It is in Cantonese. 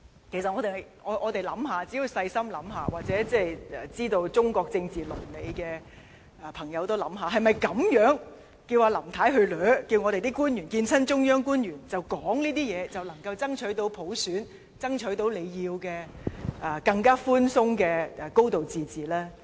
其實，我們只須細心想想，或者了解中國政治倫理的朋友也可想想，是否叫林太這樣子"死纏爛打"，叫官員每次會見中央官員也說這些話，便能夠爭取到普選，爭取到大家想要、更寬鬆的"高度自治"呢？